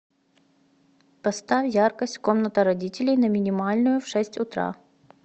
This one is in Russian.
поставь яркость комната родителей на минимальную в шесть утра